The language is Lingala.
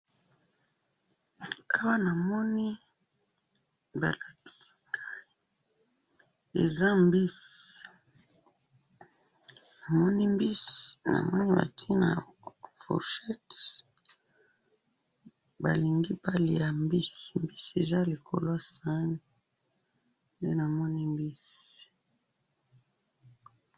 awa namoni balakisinga eza mbisi namoni mbisi namoni batiyango na fourchette balingi balia mbisi eza likolo yasani ndenamoni